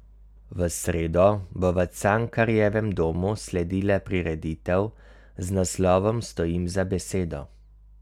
V sredo bo v Cankarjevem domu sledila prireditev z naslovom Stojim za besedo.